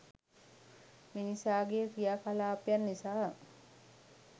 මිනිසාගේ ක්‍රියාකලාපයන් නිසා